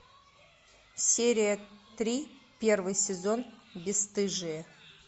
серия три первый сезон бесстыжие